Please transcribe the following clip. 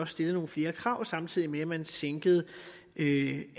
stillede nogle flere krav samtidig med at man sænkede